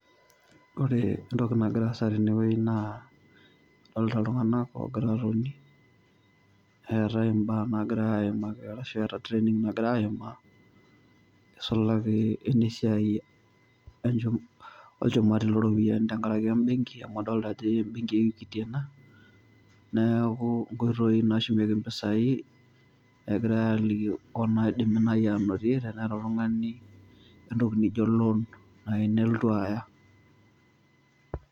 Kore entoki nagira aasa tenewuei naa adolita iltung'ana oogira atoni, eetai imbaa naagirai aimaki arashu eeta training nagira aimaa neisulaki enesiai olchumati loropiyani tengaraki  embenki amu adolita ajo embenki e equity ena , neaku nkoitoi nashumieki  mpisai egirai aliki onaidimi nai anotie teneeta oltungani entoki nijo loan nainelotu aya.